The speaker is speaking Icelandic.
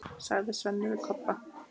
sagði Svenni við Kobba.